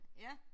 Ja